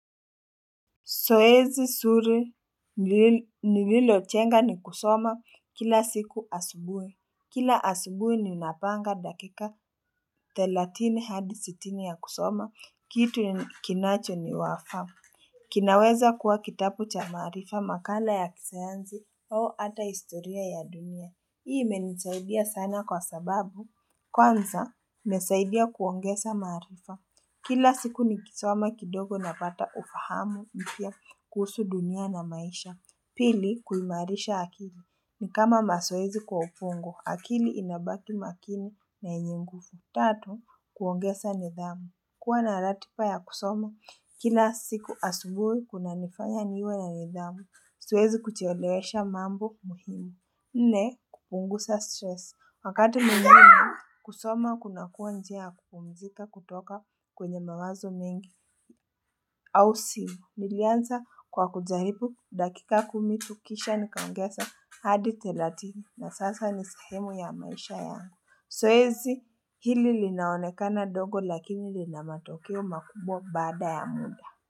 Zoezi nzuri nililojenga ni kusoma kila siku asubuhi. Kila asubuhi ninapanga dakika 30 hadi sitini ya kusoma. Kitu kinacho ni wafa. Kinaweza kuwa kitabu cha maarifa makala ya kisayansi au ata historia ya dunia. Hii imenisaidia sana kwa sababu. Kwanza, imesaidia kuongeza maarifa. Kila siku nikisoma kidogo napata ufahamu mpya. Kuhusu dunia na maisha pili kuimarisha akili ni kama mazoezi kwa ubongo akili inabaki makini na yenye nguvu tatu kuongeza nidhamu kuwa na ratiba ya kusoma kila siku asubuhi kunanifanya niwe na nidhamu siwezi kuchelewesha mambo muhimu nne kupunguza stresi wakati mwingine kusoma kunakuwa njia kupumzika kutoka kwenye mawazo mengi nilianza kwa kujaribu dakika kumi tu kisha nikaongeza hadi thelathini na sasa ni sehemu ya maisha yangu Zoezi hili linaonekana dogo lakini lina matokeo makubwa baada ya muda.